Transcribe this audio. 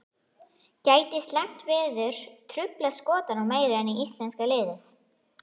Gæti slæmt veður truflað Skotana meira en íslenska liðið?